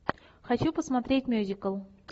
хочу посмотреть мюзикл